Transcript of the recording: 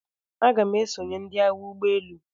Aga m esonye ndị Agha ụgbọ elu.